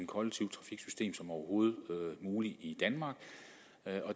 kollektivt trafiksystem som overhovedet muligt i danmark